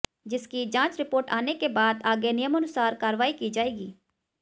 जिसकी जांच रिपोर्ट आने के बाद आगे नियमानुसार कार्रवाई की जाएगी